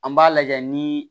An b'a lajɛ nii